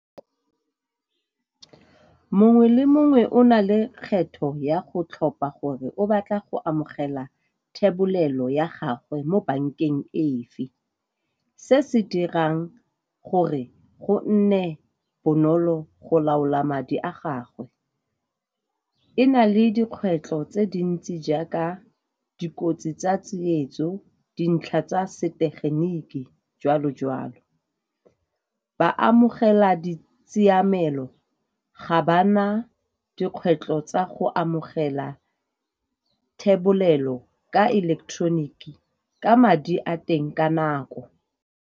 Mongwe le mongwe o na le kgetho ya go tlhopha gore o batla go amogela thebolelo ya gagwe mo bankeng efe. Se se dirang gore go nne bonolo go laola madi a gagwe e na le dikgwetlho tse dintsi jaaka dikotsi tsa tsietso, dintlha tsa setegeniki, joalo joalo. Ba amogela di tshiamelo, ga ba na dikgwetlho tsa go amogela thebolelo ka eleketeroniki ka madi a teng ka nako.